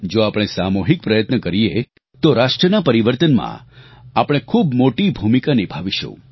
જો આપણે સામૂહિક પ્રયત્ન કરીએ તો રાષ્ટ્રના પરિવર્તનમાં આપણે ખૂબ મોટી ભૂમિકા નિભાવીશું